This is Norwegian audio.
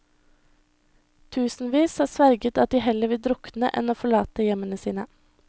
Tusenvis har sverget at de heller vil drukne enn å forlate hjemmene sine.